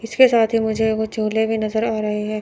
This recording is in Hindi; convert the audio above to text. इसके साथ ही मुझे वो झोले भी नजर आ रे है।